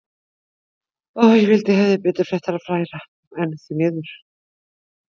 Ég vildi að ég hefði betri fréttir að færa, en því miður.